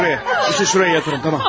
Onu buraya yatırın, tamam?